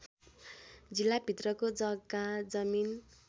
जिल्लाभित्रको जग्गा जमिन